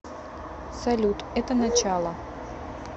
салют это начало